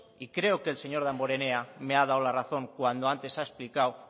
y creo que señor damborenea me ha dado la razón cuando antes ha explicado